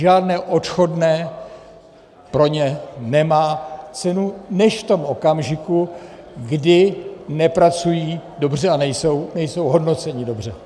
Žádné odchodné pro ně nemá cenu než v tom okamžiku, kdy nepracují dobře a nejsou hodnoceni dobře.